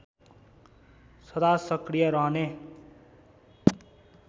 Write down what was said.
सदा सक्रिय रहने